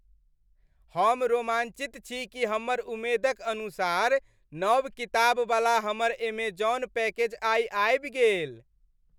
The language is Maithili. हम रोमाञ्चित छी कि हमर उम्मेदक अनुसार नव किताबवला हमर ऐमजॉन पैकेज आइ आबि गेल।